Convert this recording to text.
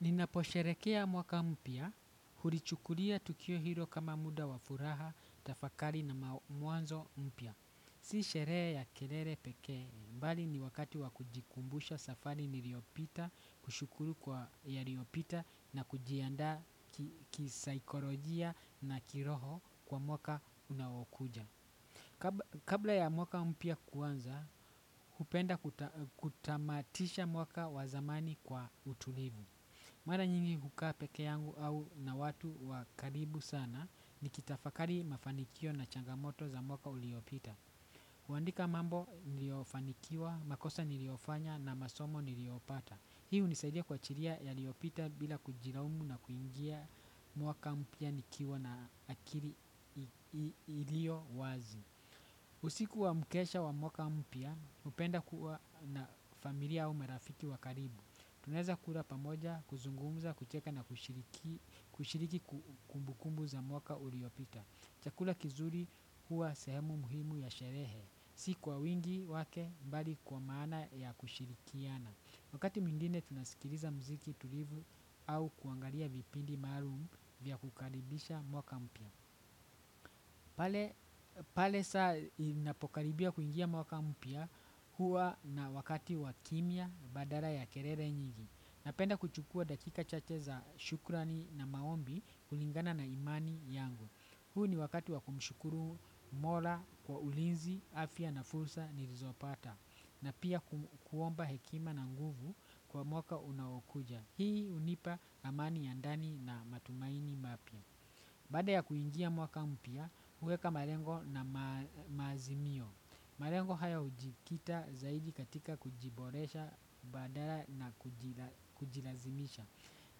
Ninaposherehekea mwaka mpya, hulichukulia tukio hilo kama muda wa furaha, tafakari na mwanzo mpya. Si sherehe ya kelele pekee, bali ni wakati wa kujikumbusha safari niliyopita, kushukuru kwa yaliyopita na kujiandaa kisaikolojia na kiroho kwa mwaka unaokuja. Kabla ya mwaka mpya kuanza, hupenda kutamatisha mwaka wa zamani kwa utulivu. Mara nyingi hukaa peke yangu au na watu wa karibu sana nikitafakari mafanikio na changamoto za mwaka uliopita. Huandika mambo niliyofanikiwa, makosa niliyofanya na masomo niliyopata. Hii hunisaidia kuachilia yaliyopita bila kujilaumu na kuingia mwaka mpya nikiwa na akili iliyo wazi. Usiku wa mkesha wa mwaka mpya hupenda kuwa na familia au marafiki wa karibu. Tunaweza kula pamoja, kuzungumza, kucheka na kushiriki kumbukumbu za mwaka uliopita. Chakula kizuri huwa sehemu muhimu ya sherehe. Si kwa wingi wake bali kwa maana ya kushirikiana. Wakati mwingine tunasikiliza muziki tulivu au kuangalia vipindi maalumu vya kukaribisha mwaka mpya. Pale saa inapokaribia kuingia mwaka mpya huwa na wakati wa kimya badala ya kelele nyingi. Napenda kuchukua dakika chache za shukurani na maombi kulingana na imani yangu. Huu ni wakati wa kumshukuru mola kwa ulinzi, afya na fursa nilizopata. Na pia kuomba hekima na nguvu kwa mwaka unaokuja. Hii hunipa amani ya ndani na matumaini mapya. Baada ya kuingia mwaka mpya, huweka malengo na maazimio. Malengo haya hujikita zaidi katika kujiboresha badala na kujilazimisha.